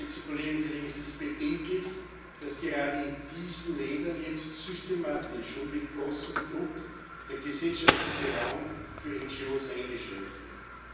Es ist bedenklich, dass gerade in diesen Ländern jetzt systematisch und mit großem Druck der gesellschaftliche Raum für NGOs eingeschränkt wird.